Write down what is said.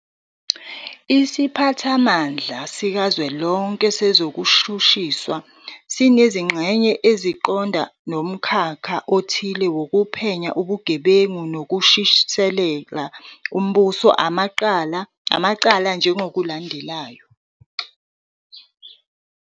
Isiphathamandla sikaZwelonke sezokuShushiswa sinezinxenye esiqonda nomkhakha othile wokuphenya ubugebengu nokushushisela umbuso amacala njengokulandelayo-